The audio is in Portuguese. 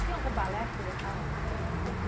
Tinha algum balé que você gostava mais, assim